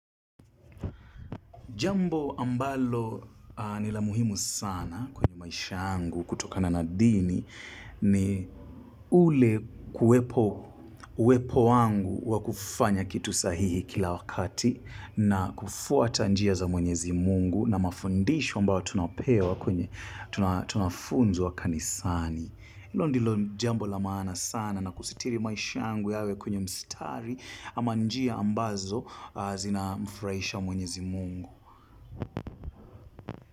Jambo ambalo nila muhimu sana kwenye maisha angu kutoka na nadini ni ule kuwepo wangu wa kufanya kitu sahihi kila wakati na kufuwata njia za mwenyezi mungu na mafundisho ambao tunapewa kwenye tunafunzwa kanisani. Ilo ndilo jambo la mana sana na kusitiri maisha angu yawe kwenye mstari ama njia ambazo zinamfraisha mwenyezi mungu.